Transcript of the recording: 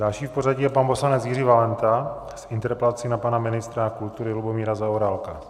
Další v pořadí je pan poslanec Jiří Valenta s interpelací na pana ministra kultury Lubomíra Zaorálka.